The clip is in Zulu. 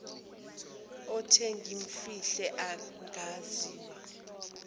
othe ngimfihle angaziwa